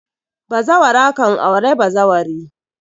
Bazawara kan aure bazawari